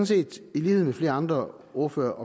set i lighed med flere andre ordførere